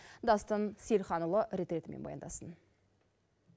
дастан сейілханұлы рет ретімен баяндасын